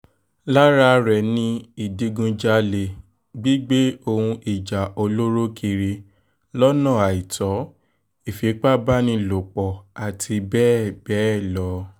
lára rẹ̀ ni ìdígunjalè gígbé ohun ìjà olóró kiri lọ́nà àìtó ìfipábánilòpọ̀ àti bẹ́ẹ̀ bẹ́ẹ̀ lọ